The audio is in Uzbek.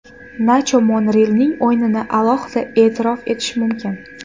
Nacho Monrealning o‘yinini alohida e’tirof etish mumkin.